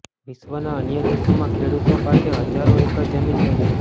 વિશ્વના અન્ય દેશોમાં ખેડૂતો પાસે હજારો એકર જમીન હોય છે